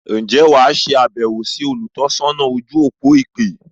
Ǹjẹ́ wà á se àbẹ̀wọ̀ sí “ olùtọ́sọ́nà ojú-òpó ìpè”?